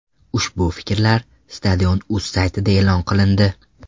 Ushbu fikrlar Stadion.uz saytida e’lon qilindi.